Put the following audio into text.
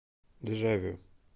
дежавю